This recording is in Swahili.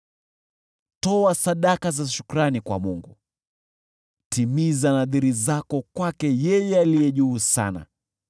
Toa sadaka za shukrani kwa Mungu, timiza nadhiri zako kwake Yeye Aliye Juu Sana,